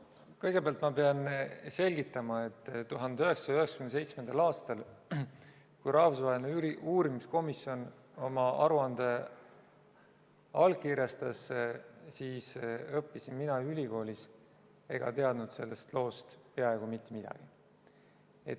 Kõigepealt ma pean selgitama, et 1997. aastal, kui rahvusvaheline uurimiskomisjon oma aruande allkirjastas, õppisin mina ülikoolis ega teadnud sellest loost peaaegu mitte midagi.